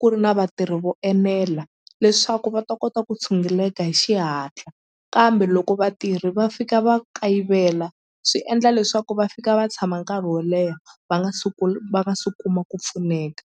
ku ri na vatirhi vo enela leswaku va ta kota ku tshunguleka hi xihatla kambe loko vatirhi va fika va kayivela swi endla leswaku va fika va tshama nkarhi wo leha va nga va nga se kuma ku pfuneka.